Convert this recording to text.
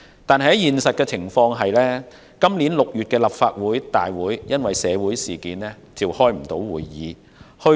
然而，現實情況卻是，今年6月的立法會大會因社會事件爆發而無法召開。